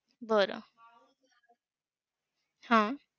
बरं! हम्म